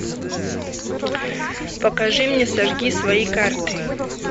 покажи мне сожги свои карты